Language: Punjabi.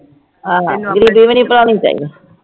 ਆਹ ਗ਼ਰੀਬੀ ਵੀ ਨੀ ਭੁਲਾਉਣੀ ਚਾਹੀਦੀ